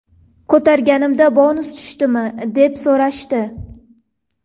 Ko‘targanimda ‘bonus tushdimi?’ deb so‘rashdi.